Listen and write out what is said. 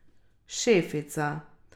Šefica.